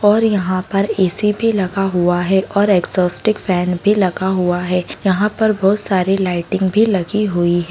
और यहाँ पर ऐ_सी भी लगा हुआ है और एग्जॉस्टिक फैन भी लगा हुआ है| यहाँ पर बहुत सारी लाइटिंग भी लगी हुई--